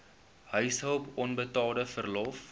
huishulp onbetaalde verlof